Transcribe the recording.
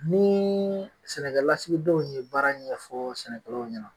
Nii sɛnɛkɛlasigidenw ye baara ɲɛfɔ sɛnɛkɛlaw ɲɛna